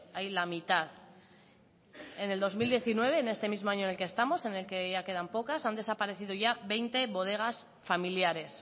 hay la mitad en el dos mil diecinueve en este mismo año en el que estamos en el que ya quedan pocas han desaparecido ya veinte bodegas familiares